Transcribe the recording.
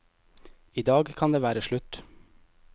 I dag kan det være slutt.